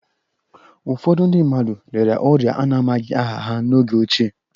Ụfọdụ ndị mmadụ rịara orịa a na-amaghị aha ha n'oge ochie